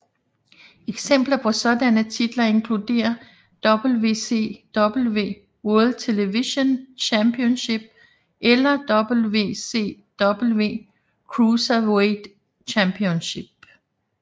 Eksempler på sådanne titler inkluderer WCW World Television Championship eller WCW Cruiserweight Championship